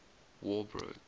war broke